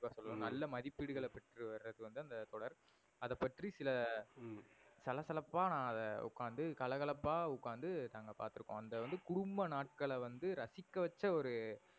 நல்ல மதிபிடுகளை பெற்று வந்தது அந்த தொடர். அது பற்றி சில சலசலபா அத ஒகாந்து கலகலப்பா ஒகாந்து நாங்க அத பாத்து இருக்கோம். அந்த வந்து குடும்ப நாட்கள வந்து ரசிக வச்ச ஒரு